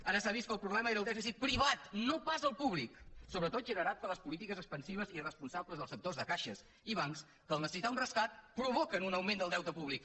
ara s’ha vist que el problema era el dèficit privat no pas el públic sobretot generat per les polítiques expansives i irresponsables dels sectors de caixes i bancs que en necessitar el rescat provoquen un augment del deute públic